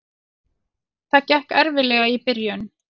Það gekk erfiðlega í byrjun.